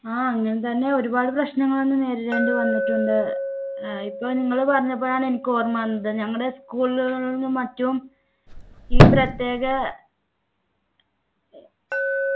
ആഹ് അങ്ങനെ തന്നെ ഒരുപാട് പ്രശ്നങ്ങൾ അന്ന് നേരിടേണ്ടി വന്നിട്ടുണ്ട് ഏർ ഇപ്പോൾ നിങ്ങൾ പറഞ്ഞപ്പോഴാണ് എനിക്ക് ഓർമ്മ വന്നത് ഞങ്ങളുടെ school കളിലും മറ്റും ഈ പ്രത്യേക